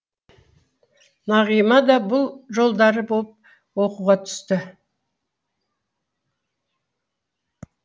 нағима да бұл да жолдары боп оқуға түсті